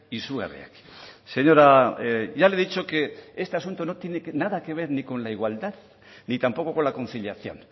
izugarriak señora ya le he dicho que este asunto no tiene nada que ver ni con la igualdad ni tampoco con la conciliación